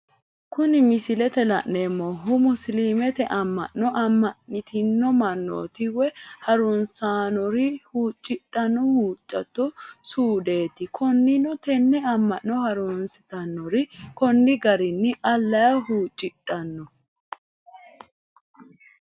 Kuni misilete la'neemohu, musilimete ama'no ama'nitino manooti woyi harunsitanori huucidhano huuchatotte suudeti, koninino tene ama'no harunsitanori koni garini alaha huucidhano